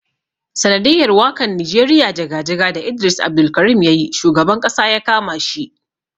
Sanadiyar wakan nijeriya jaga-jaga da Idris Abdulkarim yayi shugaban Ƙasa yakama shi.